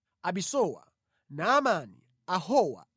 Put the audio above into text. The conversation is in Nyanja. Abisuwa, Naamani, Ahowa,